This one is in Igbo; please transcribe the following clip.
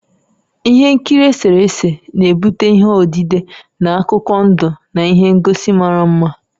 Ihe nkiri eserese na-ebute ihe odide na akụkọ ndụ na ihe ngosi mara mma.